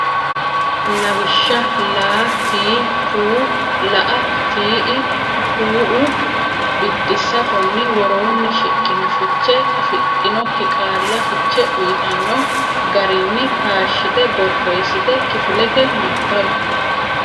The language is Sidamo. Lawishsha: laa, tiii, kuuu la”a, tii”i, kuu”u Biddissa Konni woroonni shiqqino fiche afidhinokki qaalla fiche uytanno garinni taashshite borreessite kifilete nabbawi.